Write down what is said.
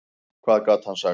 Hvað gat hann sagt?